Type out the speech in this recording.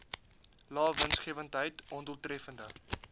lae winsgewendheid ondoeltreffende